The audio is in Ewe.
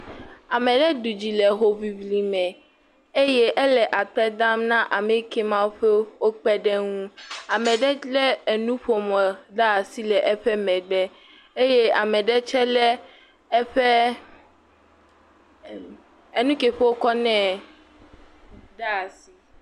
Ame aɖe ɖu dzi le hoŋliŋli me eye amea le akpe dam na ame yake wokpe ɖe ŋu. ame aɛe le nuƒomɔ le asi le eƒe megbe. Eƒe… eh ..enuke ke wokɔ nɛ.